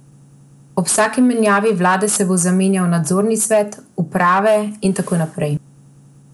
Ob vsaki menjavi vlade se bo zamenjal nadzorni svet, uprave in tako naprej.